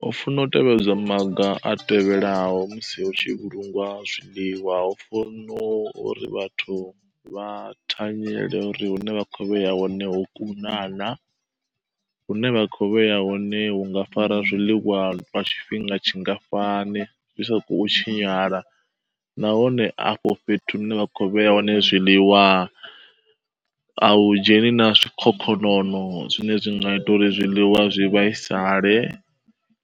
Hu funwa u tevhedzwa maga a tevhelaho musi hu tshi vhulungwa zwiḽiwa, hu funa uri vhathu vha thanyele uri hune vha kho u vheya hone ho kuna naa? Hune vha kho u vheya hone hu nga fara zwiḽiwa lwa tshifhinga tshingafhani zwi sa kho u tshinyala. Nahone afho fhethu hune vha kho u vheya hone zwiḽiwa, a u dzheni naa zwikhokhonono zwine zwi nga ita uri zwiḽiwa zwi vhaisale